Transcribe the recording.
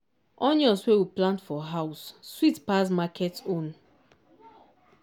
onion wey we plant for house sweet pass market own.